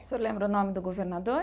O senhor lembra o nome do governador?